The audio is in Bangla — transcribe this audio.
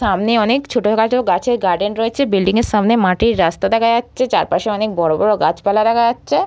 সামনে অনেক ছোটখাটো গাছের গার্ডেন রয়েছে। বিল্ডিং এর সামনে মাটির রাস্তা দেখা যাচ্ছে। চারপাশে অনেক বড় বড় গাছপালা দেখা যাচ্ছে।